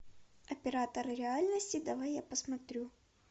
оператор реальности давай я посмотрю